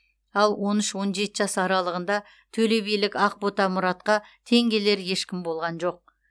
ал он үш он жеті жас аралығында төлебилік ақбота мұратқа тең келер ешкім болған жоқ